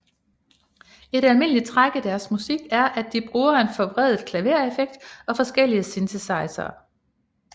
Et almindeligt træk i deres musik er at de bruger en forvredet klavereffekt og forskellige synthesizere